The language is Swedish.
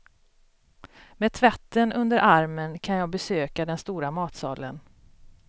Med tvätten under armen kan jag besöka den stora matsalen.